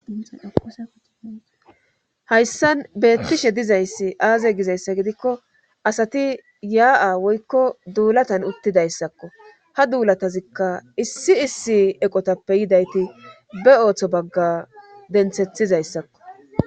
hayssan beettishe dizayssi aaze gizayssa gidikko asati yaa'a woykko duulatan uttidayssakko ha duulatazikka issi issi eqotappe yidayti be ooththo bagga denthethizayssakko